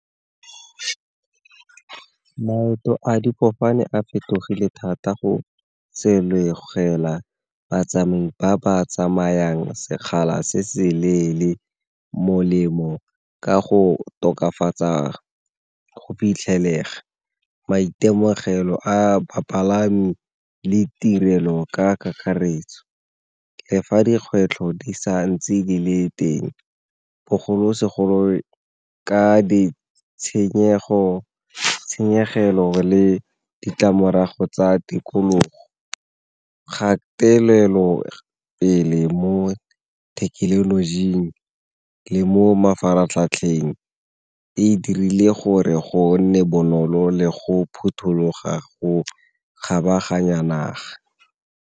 Maeto a difofane a fetogile thata go batsamai ba ba tsamayang sekgala se se leele molemo ka go tokafatsa go fitlhelega, maitemogelo a bapalami le tirelo ka kakaretso. Le fa dikgwetlho di sa ntse di le teng bogolosegolo ka tshenyegelo le ditlamorago tsa tikologo. Kgatelelo pele mo thekenolojing le mo mafaratlhatlheng e dirile gore go nne bonolo le go phuthuloga go kgabaganya naga.